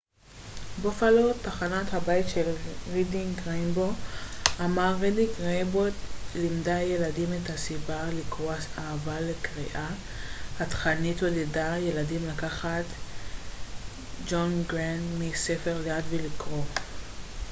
"ג'ון גרנט מ-wned בופאלו תחנת הבית של רידינג ריינבוו אמר "רידינג ריינבוו לימדה ילדים את הסיבה לקרוא,... האהבה לקריאה — [התכנית] עודדה ילדים לקחת ספר ליד ולקרוא.""